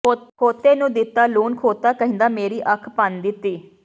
ਖੋਤੇ ਨੂੰ ਦਿੱਤਾ ਲੂਣ ਖੋਤਾ ਕਹਿੰਦਾ ਮੇਰੀ ਅੱਖ ਭੰਨ ਦਿੱਤੀ